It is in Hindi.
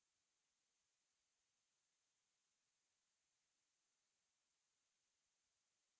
या chart के अक्ष पर labels के लिए दोनों